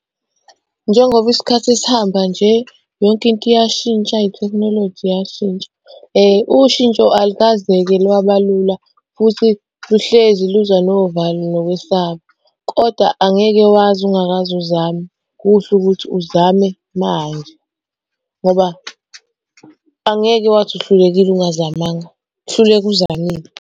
Njengoba isikhathi sihamba nje, yonke into iyashintsha ithekhinoloji iyashintsha. Ushintsho alikaze-ke lwaba lula futhi luhlezi luza novalo nokwesaba, kodwa angeke wazi ungakaze uzame. Kuhle ukuthi uzame manje ngoba angeke wazi uhlulekile ungazamanga, hluleka uzamile.